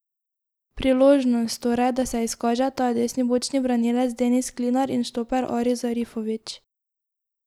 Priložnost, torej, da se izkažeta desni bočni branilec Denis Klinar in štoper Aris Zarifović.